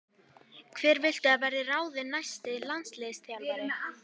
Hver viltu að verði ráðinn næsti landsliðsþjálfari?